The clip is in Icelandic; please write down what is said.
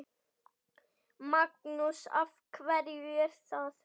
Magnús: Af hverju er það?